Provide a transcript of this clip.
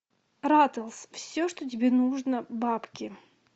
ратлз все что тебе нужно бабки